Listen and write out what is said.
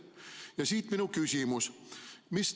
Ja siit minu küsimus.